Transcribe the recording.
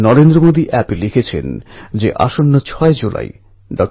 প্রতি বছর এই উৎসব খুব উৎসাহ ও আনন্দের সঙ্গে পালন করা হয়